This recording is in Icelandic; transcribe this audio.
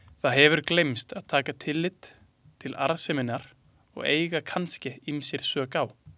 Það hefur gleymst að taka tillit til arðseminnar og eiga kannske ýmsir sök á.